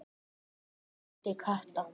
vældi Kata.